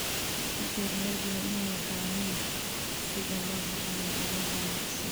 Beeralaydu waa inay yaqaaniin sida loo bixiyo adeeg wanaagsan.